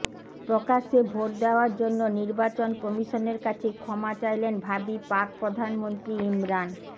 প্রকাশ্যে ভোট দেওয়ার জন্য নির্বাচন কমিশনের কাছে ক্ষমা চাইলেন ভাবী পাক প্রধানমন্ত্রী ইমরান